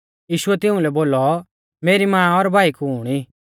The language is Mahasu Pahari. यीशुऐ तिउंलै बोलौ मेरी मां और भाई कुण ई